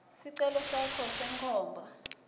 sicelo sakho senkhomba